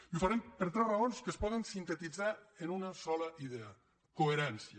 i ho farem per tres raons que es poden sintetitzar en una sola idea coherència